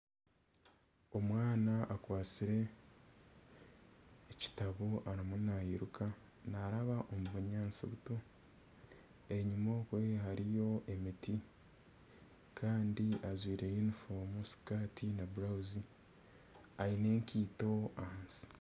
Omwana akwatsire ekitabo ariyo nairuka naaraba omu bunyaatsi buto, enyima okwo hariyo emiti kandi ajwire yunifoomu sikaati na burawuzi aine ekaito ahansi